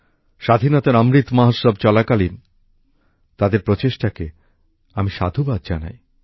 স্বাধীনতার অমৃত মহোৎসব চলাকালীন তাদের এই প্রচেষ্টাকে আমি সাধুবাদ জানাই